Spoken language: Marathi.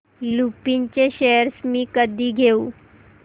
लुपिन चे शेअर्स मी कधी घेऊ